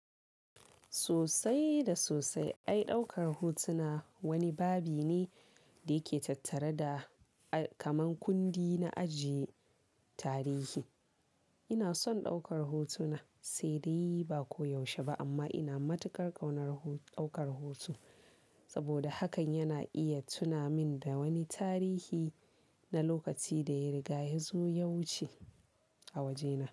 Sosai da sosai. Ai ɗaukar hotuna wani babi ne da yake tattare da, a kaman kundi na ajiye tarihi. Ina son ɗaukar hotuna, sai dai ba ko yaushe ba amma ina matukar ƙaunar ho-ɗaukar hoto saboda hakan yana iya tuna min da wani tarihi na lokaci da ya riga yazo ya wuce a wajena.